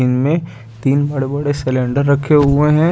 इनमें तीन बड़े-बड़े सिलेंडर रखे हुए हैं।